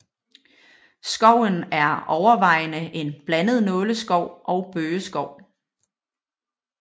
Skoven er overvejende en blandet nåleskov og bøgeskov